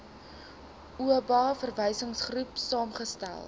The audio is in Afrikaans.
oba verwysingsgroep saamgestel